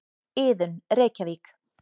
Iðunn, Reykjavík.